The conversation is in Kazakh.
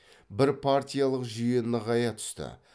бірпартиялық жүйе нығая түсті